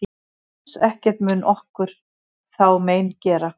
Alls ekkert mun okkur þá mein gera.